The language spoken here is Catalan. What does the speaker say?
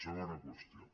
segona qüestió